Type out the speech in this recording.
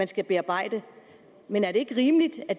skal bearbejde men er det ikke rimeligt at